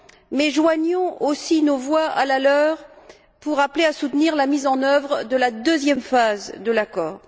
Mais joignons aussi nos voix à la leur pour appeler à soutenir la mise en oeuvre de la deuxième phase de l'accord.